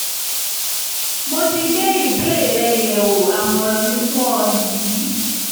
mo ti gbé ìbéèrè rẹ yẹ̀wò àmọ̀ràn mi fún ọ nìyí